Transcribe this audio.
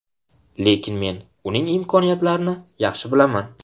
Lekin men uning imkoniyatlarini yaxshi bilaman.